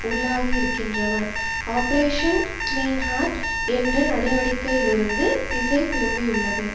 உள்ளாகியிருகின்ற operation clean heart என்ற நடவடிக்கையிலிருந்து திசை திருப்பியுள்ளது